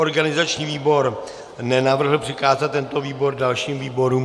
Organizační výbor nenavrhl přikázat tento návrh dalším výborům.